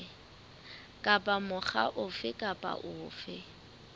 kapa mokga ofe kapa ofe